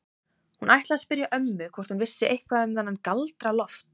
Hún ætlaði að spyrja ömmu hvort hún vissi eitthvað um þennan Galdra-Loft.